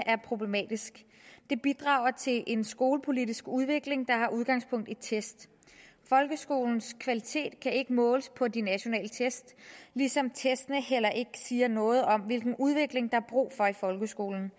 er problematisk det bidrager til en skolepolitisk udvikling der har udgangspunkt i test folkeskolens kvalitet kan ikke måles på de nationale test ligesom testene heller ikke siger noget om hvilken udvikling der er brug for i folkeskolen